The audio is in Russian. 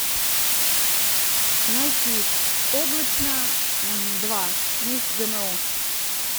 найти облачно два месть гмо